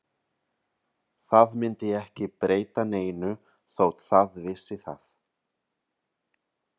Það myndi ekki breyta neinu þótt það vissi það.